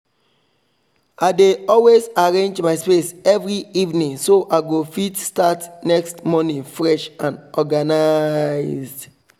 i dey always arrange my space every evening so i go fit start next morning fresh and organislzed